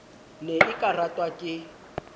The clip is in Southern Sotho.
ne e ka ratwa ke